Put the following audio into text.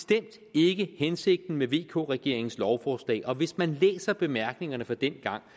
ikke hensigten med vk regeringens lovforslag og hvis man læser bemærkningerne fra dengang